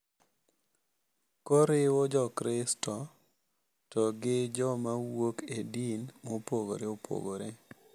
Koriwo jokristo to gi jomawuok e din mopogore opogore.